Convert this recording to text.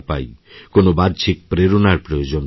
কোনো বাহ্যিক প্রেরণার প্রয়োজন পড়ে না